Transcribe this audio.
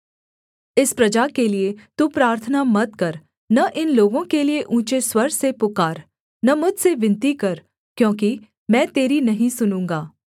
इस प्रजा के लिये तू प्रार्थना मत कर न इन लोगों के लिये ऊँचे स्वर से पुकार न मुझसे विनती कर क्योंकि मैं तेरी नहीं सुनूँगा